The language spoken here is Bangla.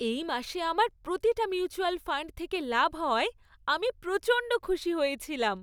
এই মাসে আমার প্রতিটা মিউচুয়াল ফাণ্ড থেকে লাভ হওয়ায় আমি প্রচণ্ড খুশি হয়েছিলাম।